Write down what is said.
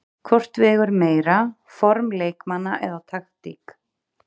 Hvort vegur meira, form leikmanna eða taktík?